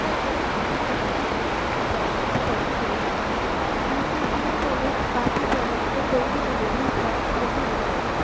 ਜਾ extra discount ਕੁੱਝ products ਤੇ ਤੁਹਾਨੂੰ ਮਿਲ ਜਾਂਦਾ ਦੂਸਰੀ ਚੀਜ ਤੁਹਾਨੂੰ ਕਾਫੀ products ਤੇ ਕੋਈ ਵੀ delivery charge ਨਹੀਂ ਲੱਗੇਗਾ